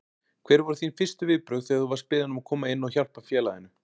Hver voru þín fyrstu viðbrögð þegar þú varst beðinn að koma inn og hjálpa félaginu?